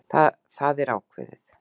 Það er ákveðið!